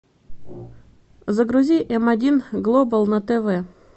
загрузи м один глобал на тв